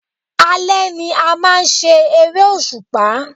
Alé ni a máa ń ṣe eré òṣùpá